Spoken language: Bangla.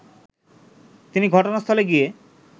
তিনি ঘটনাস্থলে গিয়ে